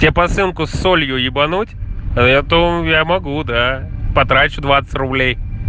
те посылку с солью ебануть а я то я могу до потрачу двадцать рублей